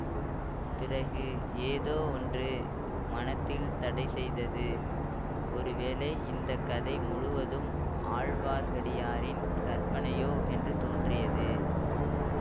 பிறகு ஏதோ ஒன்று மனத்தில் தடை செய்தது ஒரு வேளை இந்த கதை முழுவதும் ஆழ்வார்க்கடியாரினின் கற்பனையோ என்று தோன்றியது